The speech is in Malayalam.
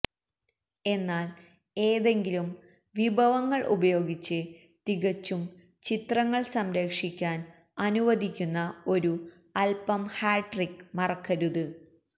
എന്നാൽ ഏതെങ്കിലും വിഭവങ്ങൾ ഉപയോഗിച്ച് തികച്ചും ചിത്രങ്ങൾ സംരക്ഷിക്കാൻ അനുവദിക്കുന്ന ഒരു അല്പം ഹാട്രിക് മറക്കരുത്